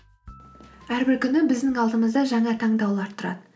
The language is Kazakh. әрбір күні біздің алдымызда жаңа таңдаулар тұрады